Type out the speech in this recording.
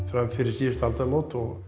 fram fyrir síðustu aldamót og